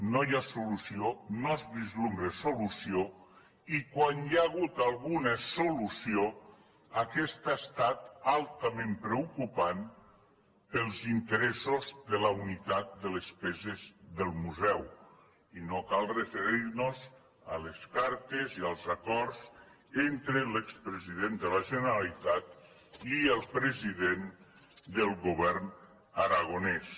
no hi ha solució no s’entreveu solució i quan hi ha hagut alguna solució aquesta ha estat altament preocupant per als interessos de la unitat de les peces del museu i no cal referir nos a les cartes i als acords entre l’expresident de la generalitat i el president del govern aragonès